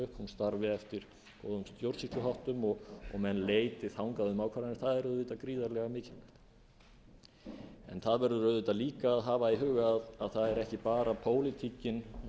upp eftir góðum stjórnsýsluháttum og menn leiti þangað um ákvarðanir það er auðvitað gríðarlega mikilvægt það verður auðvitað líka að hafa í huga að það er ekki bara pólitíkin